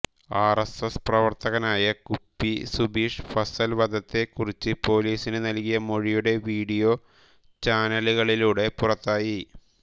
R S S പ്രവർത്തകനായ കുപ്പി സുബീഷ് ഫസൽ വധത്തെ കുറിച്ച് പൊലീസിന് നൽകിയ മൊഴിയുടെ വീഡിയോ ചാനലുകളിലൂടെ പുറത്തായി